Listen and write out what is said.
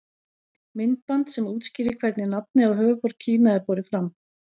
Myndband sem útskýrir hvernig nafnið á höfuðborg Kína er borið fram.